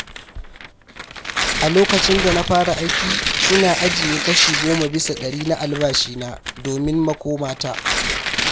A lokacin da na fara aiki, ina ajiye kashi goma bisa ɗari na albashina domin makomata.